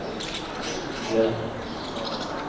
hjälp